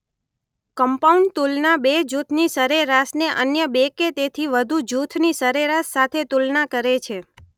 Compound તુલના બે જૂથની સરેરાશને અન્ય બે કે તેથી વધુ જૂથની સરેરાશ સાથે તુલના કરે છે.